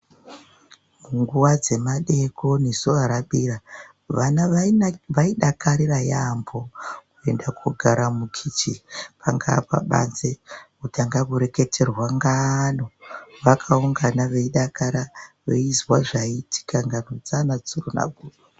Nguwa dzemadekoni zuwa rabira vana vaidakarira yambo kuenda kogara mukicheni pangaa pabanze votanga kureketerwa ngano vakaungana veidakara veizwa zvaiitika ngano dzaana tsuro nagudo.